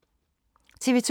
TV 2